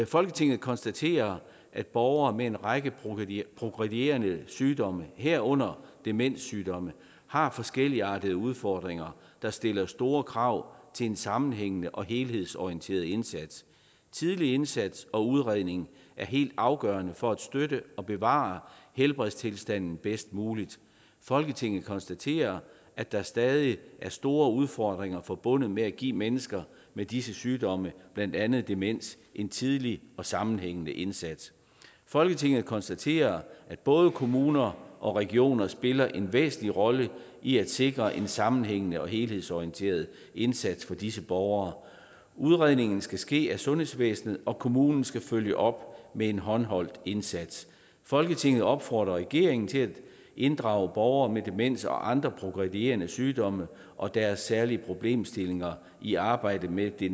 folketinget konstaterer at borgere med en række progredierende sygdomme herunder demenssygdomme har forskelligartede udfordringer der stiller store krav til en sammenhængende og helhedsorienteret indsats tidlig indsats og udredning er helt afgørende for at støtte og bevare helbredstilstanden bedst muligt folketinget konstaterer at der stadig er store udfordringer forbundet med at give mennesker med disse sygdomme blandt andet demens en tidlig og sammenhængende indsats folketinget konstaterer at både kommuner og regioner spiller en væsentlig rolle i at sikre en sammenhængende og helhedsorienteret indsats for disse borgere udredningen skal ske af sundhedsvæsenet og kommunen skal følge op med en håndholdt indsats folketinget opfordrer regeringen til at inddrage borgere med demens og andre progredierende sygdomme og deres særlige problemstillinger i arbejdet med det